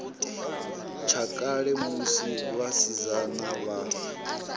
tsha kale musi vhasidzana vha